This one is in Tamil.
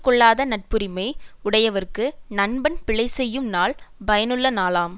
கொள்ளாத நட்புரிமை உடையவர்க்கு நண்பன் பிழை செய்யும் நாள் பயனுள்ள நாளாம்